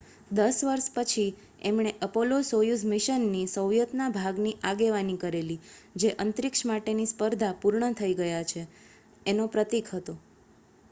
દસ વર્ષ પછી એમણે એપોલો-સોયુઝ મિશનની સોવિયતના ભાગની આગેવાની કરેલી જે અંતરીક્ષ માટેની સ્પર્ધા પૂર્ણ થઈ ગયા છે એનો પ્રતીક હતો